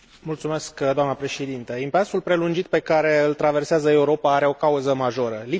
Impasul prelungit pe care îl traversează Europa are o cauză majoră lipsa de acțiune concertată.